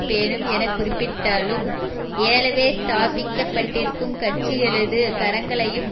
பேணும் என குறிப்பிட்டாலும் ஏலவே ஸ்தாபிக்கப்பட்டிருக்கும் கட்சிகளது கரங்களையும்